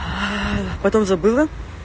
потом забыла